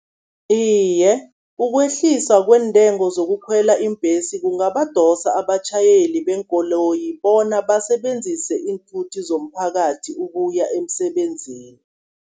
Iye, ukwehliswa kweentengo zokukhwela iimbhesi kungabadosa abatjhayeli beenkoloyi bona, basebenzise iinthuthi zomphakathi ukuya emsebenzini.